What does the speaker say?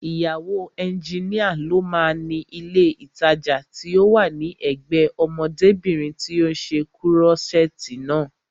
Ìyàwó ẹnjínìa ló máa ni ilé ìtajà tí ó wà ní ẹ̀gbẹ́ẹ ọmọdébìnrin tí ó ṣe kúrọ́ṣẹ̀ẹ̀tì naa